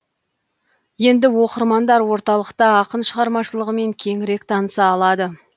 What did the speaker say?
енді оқырмандар орталықта ақын шығармашылығымен кеңірек таныса алады